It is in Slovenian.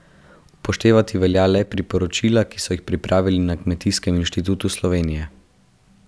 Upoštevati velja le priporočila, ki so jih pripravili na Kmetijskem inštitutu Slovenije.